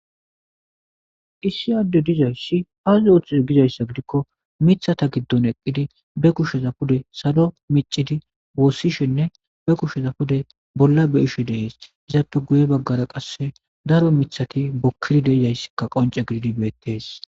Issi Adey dizaysi azi oothize gizaysa gidikon mithata gidoni eqidi be kusheza pude salo micid woosishenne be kushe pude bolla beyishe Desi. Izappe guye bagara qase daro mithati guke de'izaysi qonce gidid beetesi.